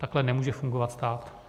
Takhle nemůže fungovat stát.